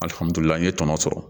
Alihamdullila an ye tɔnɔ sɔrɔ